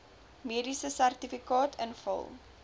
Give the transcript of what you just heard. mediese sertifikaat invul